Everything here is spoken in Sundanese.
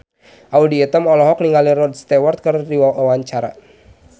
Audy Item olohok ningali Rod Stewart keur diwawancara